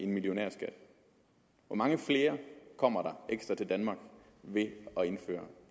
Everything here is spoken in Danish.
millionærskat hvor mange flere kommer der ekstra til danmark ved at indføre